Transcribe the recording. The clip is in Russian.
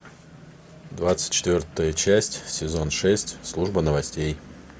двадцать четвертая часть сезон шесть служба новостей